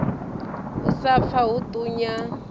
u sa pfa hu ṱunya